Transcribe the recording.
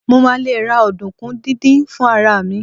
mo ma le ra ọdunkun didin fún ara mi